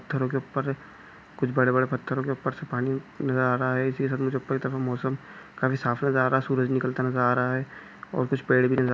पत्थरों के ऊपर कुछ बड़े-बड़े पत्थरों के ऊपर से पानी नजर आ रहा है इसके साथ मौसम काफी साफ नजर आ रहा है सूरज निकलता नजर आ रहा है और कुछ पेड़ भी नजर --